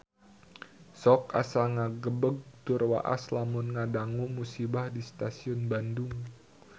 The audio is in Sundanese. Sok asa ngagebeg tur waas lamun ngadangu musibah di Stasiun Bandung